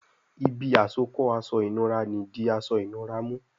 Ibi àsokọ́ aṣọ ìnura ní dì aṣọ ìnura mú